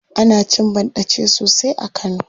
Ana cin banɗace sosai a kano.